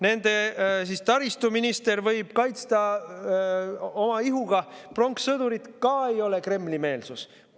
Nende taristuminister võib kaitsta oma ihuga pronkssõdurit – ei ole Kremli-meelsus.